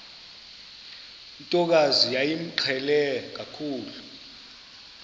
ntokazi yayimqhele kakhulu